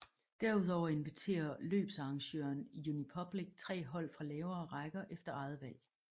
Derudover inviterer løbsarrangøren Unipublic tre hold fra lavere rækker efter eget valg